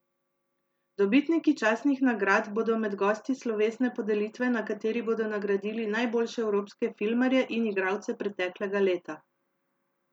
Dobitniki častnih nagrad bodo med gosti slovesne podelitve na kateri bodo nagradili najboljše evropske filmarje in igralce preteklega leta.